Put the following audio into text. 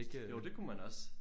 Jo det kunne man også